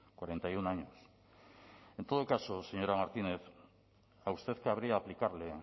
cuarenta y uno años en todo caso señora martínez a usted cabría aplicarle